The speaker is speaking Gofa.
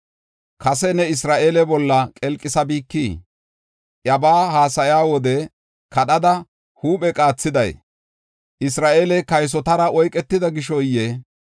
Kase ne Isra7eele bolla qelqisabikii? Iyabaa haasaya wode kadhada huuphe qaathiday Isra7eeley kaysotara oyketida gishoyee?